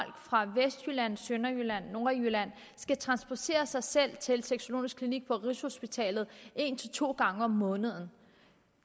fra vestjylland sønderjylland nordjylland skal transportere sig sig til sexologisk klinik på rigshospitalet en til to gange om måneden